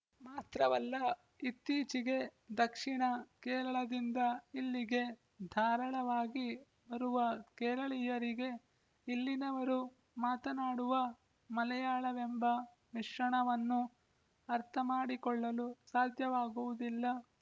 ಮಾತ್ರವಲ್ಲ ಇತ್ತೀಚೆಗೆ ದಕ್ಷಿಣ ಕೇರಳದಿಂದ ಇಲ್ಲಿಗೆ ಧಾರಾಳವಾಗಿ ಬರುವ ಕೇರಳೀಯರಿಗೆ ಇಲ್ಲಿನವರು ಮಾತನಾಡುವ ಮಲೆಯಾಳವೆಂಬ ಮಿಶ್ರಣವನ್ನು ಅರ್ಥಮಾಡಿಕೊಳ್ಳಲು ಸಾಧ್ಯವಾಗುವುದಿಲ್ಲ